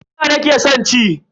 Fiza nake son ci.